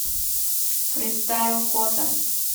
фристайл фото